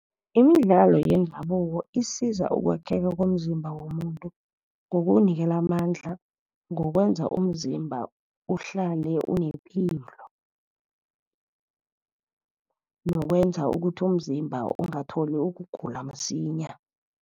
Imidlalo yendabuko isiza ukwakheka komzimba womuntu ngokuwunikela amandla, ngokwenza umzimba uhlale unepilo, nokwenza ukuthi umzimba ungatholi ukugula msinya.